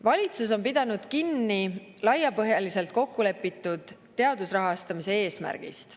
Valitsus on pidanud kinni laiapõhjaliselt kokkulepitud teadusrahastamise eesmärgist.